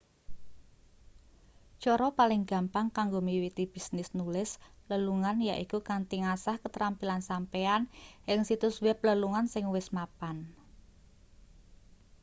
cara paling gampang kanggo miwiti bisnis nulis lelungan yaiku kanthi ngasah ketrampilan sampeyan ing situs web lelungan sing wis mapan